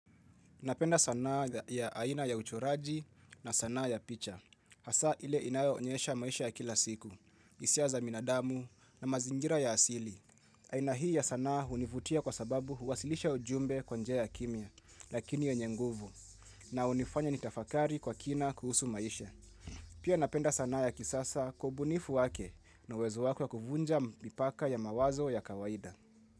Napenda sanaa ya aina ya uchoraji na sanaa ya picha. Hasa ile inayo onyesha maisha ya kila siku, hisia za binadamu na mazingira ya asili. Aina hii ya sanaa hunivutia kwa sababu huwasilisha ujumbe kwa njia ya kimya, lakini yenye nguvu, na hunifanya nitafakari kwa kina kuhusu maisha. Pia napenda sanaa ya kisasa kwa ubunifu wake na uwezo wako ya kuvunja mipaka ya mawazo ya kawaida.